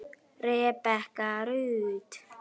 Rebekka Rut.